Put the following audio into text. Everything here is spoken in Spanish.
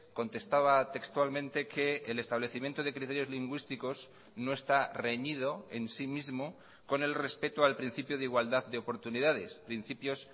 contestaba textualmente que el establecimiento de criterios lingüísticos no está reñido en sí mismo con el respeto al principio de igualdad de oportunidades principios